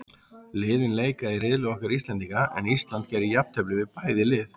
Liðin leika í riðli okkar Íslendinga, en Ísland gerði jafntefli við bæði lið.